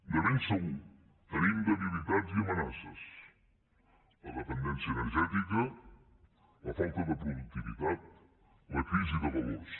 de ben segur que tenim debilitats i amenaces la dependència energètica la falta de productivitat la crisi de valors